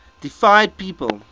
deified people